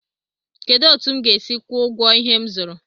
Kedụ etu m ga-esi kwuo ụgwọ ihe m zụrụ?